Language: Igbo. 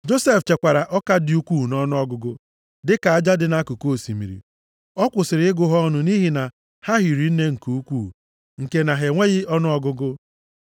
Josef chekwara ọka dị ukwuu nʼọnụọgụgụ, dịka aja dị nʼakụkụ osimiri. A kwụsịrị ịgụ ha ọnụ nʼihi na ha hiri nne nke ukwuu nke na ha enweghị ọnụọgụgụ.